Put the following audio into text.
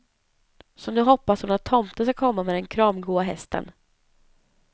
Så nu hoppas hon att tomten ska komma med den kramgoa hästen.